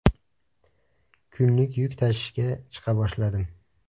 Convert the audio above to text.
Kunlik yuk tashishga chiqa boshladim.